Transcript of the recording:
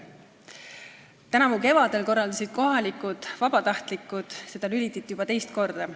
Tänavu kevadel korraldasid kohalikud vabatahtlikud seda juba teist korda.